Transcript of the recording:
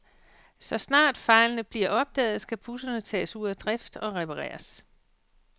Så snart fejlene bliver opdaget, skal busserne tages ud af drift og repareres.